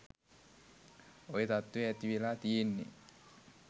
ඔය තත්ත්වේ ඇති වෙලා තියෙන්නේ.